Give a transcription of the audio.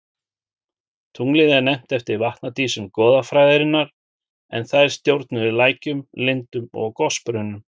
Tunglið er nefnt eftir vatnadísum goðafræðinnar en þær stjórnuðu lækjum, lindum og gosbrunnum.